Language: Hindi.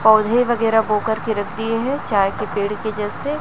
पौधे वगैरह बो कर के रख दिए है चाय के पेड़ के जैसे--